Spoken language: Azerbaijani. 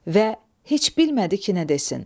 Və heç bilmədi ki, nə desin.